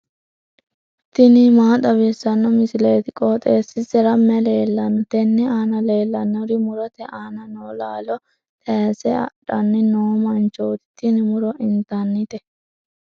tini maa xawissanno misileeti? qooxeessisera may leellanno? tenne aana leellannori murote aana noo laalo tayiise adhanni noo manchooti. tini muro intannite.